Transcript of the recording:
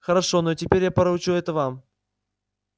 хорошо но теперь я поручу это вам